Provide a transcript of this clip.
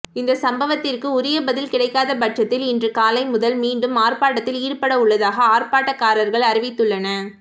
இந்த சம்பவத்திற்கு உரிய பதில் கிடைக்காத பட்சத்தில் இன்று காலை முதல் மீண்டும் ஆர்ப்பாட்டத்தில் ஈடுபடவுள்ளதாக ஆர்ப்பாட்டக்காரர்கள் அறிவித்துள்ளன